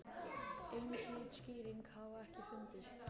Einhlít skýring hafi ekki fundist.